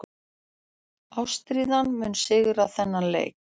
Ástríðan mun sigra þennan leik.